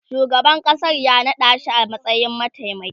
shugaban ƙasa ya naɗashi a matsayin mataimaki